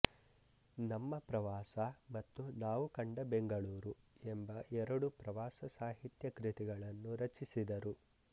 ನಮ್ಮ ಪ್ರವಾಸ ಮತ್ತು ನಾವು ಕಂಡ ಬೆಂಗಳೂರು ಎಂಬ ಎರಡು ಪ್ರವಾಸ ಸಾಹಿತ್ಯ ಕೃತಿಗಳನ್ನು ರಚಿಸಿದರು